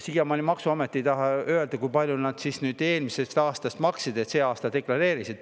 Siiamaani ei taha maksuamet öelda, kui palju nad siis nüüd alates eelmisest aastast maksid, kui palju nad sellel aastal deklareerisid.